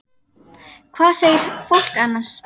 Hvað segir fólk annars?